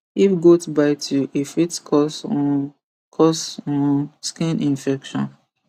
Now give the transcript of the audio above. if goat bite you e fit cause um cause um skin infection